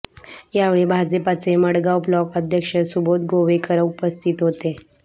यावेळी भाजपाचे मडगाव ब्लॉक अध्यक्ष सुबोध गोवेकर उपस्थित होते